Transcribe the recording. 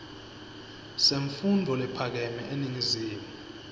semfundvo lephakeme eningizimu